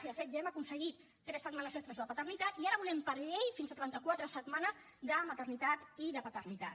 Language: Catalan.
i de fet ja hem aconseguit tres setmanes extres de paternitat i ara volem per llei fins a trenta quatre setmanes de maternitat i de paternitat